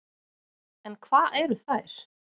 En hvað eru þær?